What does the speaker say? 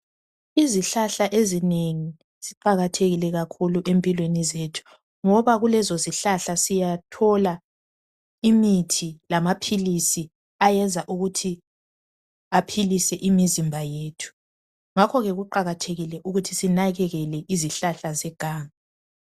izihlahla ezinengi ziqakathekile kakhulu empilweni zethu ngoba kulezi zihlahla siyathola imithi lamaphilisi ayenza ukuthi aphilise imizimba yethu ngakho kuqakathekile ukuthi sinakekele izihlahla zeganga